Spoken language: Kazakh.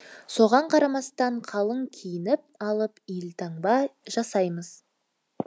соған қарамастан қалың киініп алып елтаңба жасаймыз